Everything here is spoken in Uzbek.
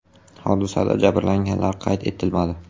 Hodisada jabrlanganlar qayd etilmadi.